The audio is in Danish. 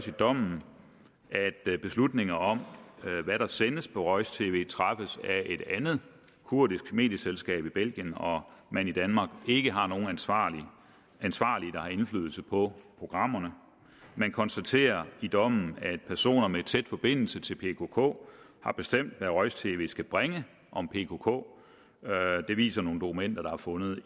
i dommen at beslutninger om hvad der sendes på roj tv træffes af et andet kurdisk medieselskab i belgien og at man i danmark ikke har nogen ansvarlige der har indflydelse på programmerne man konstaterer i dommen at personer med tæt forbindelse til pkk har bestemt hvad roj tv skal bringe om pkk det viser nogle dokumenter der er fundet